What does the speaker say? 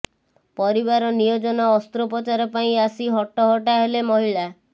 ପରିବାର ନିୟୋଜନ ଅସ୍ତ୍ରୋପଚାର ପାଇଁ ଆସି ହଟହଟା ହେଲେ ମହିଳା